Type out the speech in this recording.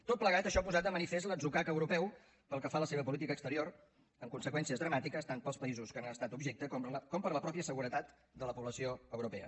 tot plegat això ha posat de manifest l’atzucac europeu pel que fa a la seva política exterior amb conseqüències dramàtiques tant per als països que n’han estat objecte com per a la mateixa seguretat de la població europea